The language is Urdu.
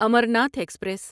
امرناتھ ایکسپریس